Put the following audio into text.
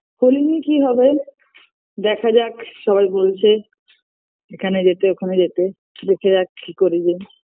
হোলি নিয়ে কী হবে দেখা যাক সবাই বলছে এখানে যেতে ওখানে যেতে দেখা যাক কী করা যায়